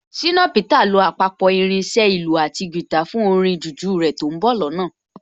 Ṣìnà Peter lo àpapọ̀ irin iṣẹ́ ìlù àti guitar fún orin jùjú rẹ̀ tó ń bọ̀ lọ́nà